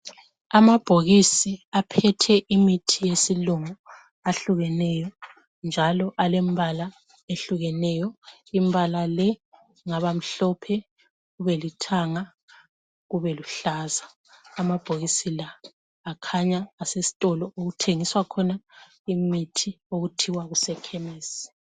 Amabhokisi aphethe imithi yesilungu ahlukeneyo njalo alembala ehlukeneyo. Imbala le ingaba mhlophe, ubelithanga, ubeluhlaza. Amabhokisi la akhanya ases'tolo okuthengiswa khona imithi okuthiwa kusekhemisi.